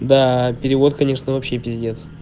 да перевод конечно вообще пиздец